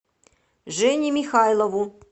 жене михайлову